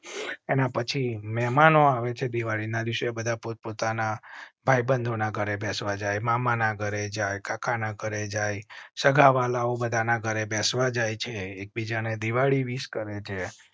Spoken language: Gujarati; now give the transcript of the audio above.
એના પછી મહેમાનો આવે છે. દિવાળી ના દિવસે બધા પોત પોતાના ભાઈ બંધ ના ઘરે બેસવા જાય મામા ના ઘરે જાય, કાકા ના ઘરે જાય, સગાવ્હાલાઓ બધા ના ઘરે બેસવા જાય છે, એકબીજા ને દિવાળી વિશ કરેં છે